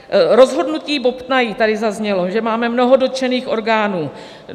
Rozhodnutí bobtnají - tady zaznělo, že máme mnoho dotčených orgánů.